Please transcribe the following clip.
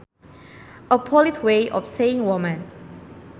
A polite way of saying woman